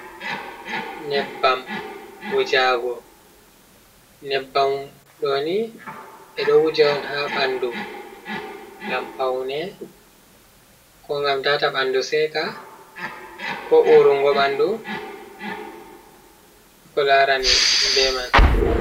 Nyebbam wujago, nyebbamɗoni ɓeɗo wuja on ha ɓandu ngam paune, ko ngam tata ɓandu seka, ko urungo ɓandu, ko larani be man.